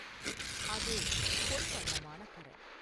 அது பொன் வண்ணமான கரம்.